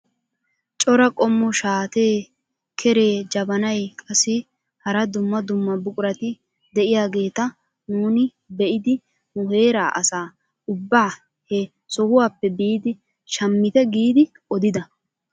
Cora qommo shaatee, keree, jabanay qassi hara dumma dumma buqurati de'iyaageta nuuni be'idi nu heera asaa ubbaa he sohuwaappe biidi shaamite giidi odida!